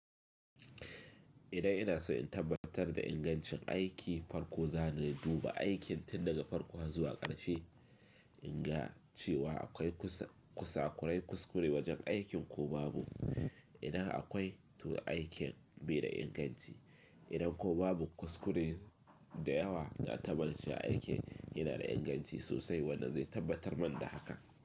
Idan ina so in tabbatar da ingancin aiki, farko zan duba aikin tun daga farko zuwa ƙarshe, in ga cewa akwai kusakurai kuskure wajen aikin ko babu, inda akwai tu aikin mai da inganci. Idan ko babu kuskure da yawa na tabbance aiki yana da inganci sosai, wannan zai tabbatar man da haka.